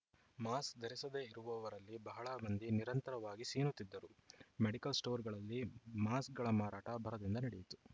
mask ಧರಿಸದೆ ಇರುವವರಲ್ಲಿ ಬಹಳ ಮಂದಿ ನಿರಂತರವಾಗಿ ಸೀನುತ್ತಿದ್ದರು ಮೆಡಿಕಲ್‌ ಸ್ಟೋರುಗಳಲ್ಲಿ ಮಾಸ್ಕ್‌ಗಳ ಮಾರಾಟ ಭರದಿಂದ ನಡೆಯಿತು